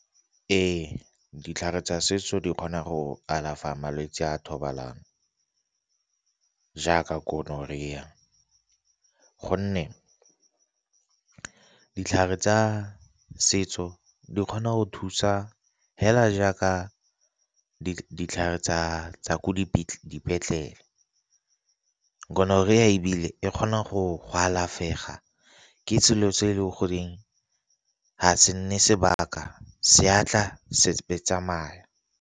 Ee, ditlhare tsa setso di kgona go alafa malwetsi a thobalano jaaka gonorrhea gonne ditlhare tsa setso di kgona go thusa hela jaaka ditlhare tsa ko dipetlele. Gonorrhea ebile e kgona go go alafega ke selo se e le goreng ga se nne sebaka se atla se be se tsamaya.